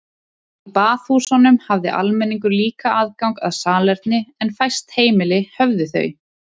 Í baðhúsunum hafði almenningur líka aðgang að salerni en fæst heimili höfðu þau.